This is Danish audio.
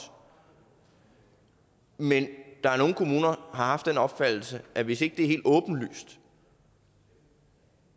men der er nogle kommuner har haft den opfattelse at hvis ikke det er helt åbenlyst